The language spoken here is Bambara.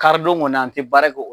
Karidon kɔni an tɛ baara kɛ o.